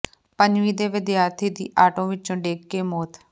ਪੰਜਵੀਂ ਦੇ ਵਿਦਿਆਰਥੀ ਦੀ ਆਟੋ ਵਿੱਚੋਂ ਡਿੱਗ ਕੇ ਮੌਤ